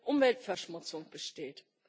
Umweltverschmutzung besteht.